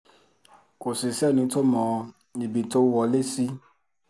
kò sì sẹ́ni tó mọ ibi tó wọlé sí